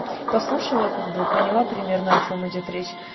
послушала как бы поняла примерно о чём идёт речь